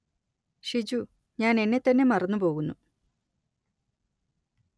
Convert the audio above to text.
ഷിജു ഞാന്‍ എന്നെ തന്നെ മറന്നു പോകുന്നു